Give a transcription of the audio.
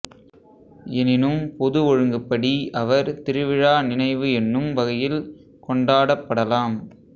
எனினும் பொது ஒழுங்குப்படி அவர் திருவிழா நினைவு என்னும் வகையில் கொண்டாடப்படலாம்